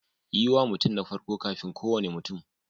Yi wa mutum na farko kafin kowane mutum.